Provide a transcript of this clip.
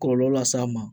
Kɔlɔlɔ las'a ma